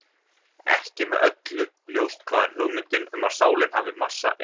Ekki er með öllu ljóst hvaðan hugmyndin um að sálin hafi massa er upprunnin.